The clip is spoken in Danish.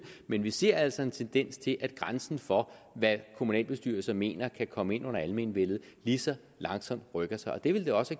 men vi ser altså en tendens til at grænsen for hvad kommunalbestyrelser mener kan komme ind under almenvellet lige så langsomt rykker sig og det ville det også